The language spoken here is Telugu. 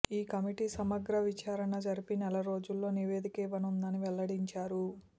ఈ కమిటీ సమగ్ర విచా్రణ జరిపి నెల రోజుల్లో నివేదిక ఇవ్వనుందని వెల్లడించారు